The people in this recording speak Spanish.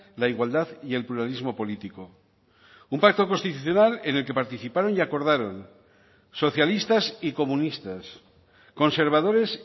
la igualdad y el pluralismo político un pacto constitucional en el que participaron y acordaron socialistas y comunistas conservadores